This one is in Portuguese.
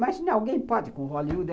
Imagina, alguém pode com Hollywood?